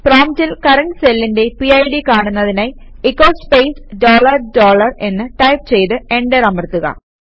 പ്രോംപ്റ്റിൽ കറന്റ് സെല്ലിന്റെ പിഡ് കാണുന്നതിനായി എച്ചോ സ്പേസ് ഡോളർ ഡോളർ എന്ന് ടൈപ് ചെയ്ത് എന്റർ അമർത്തുക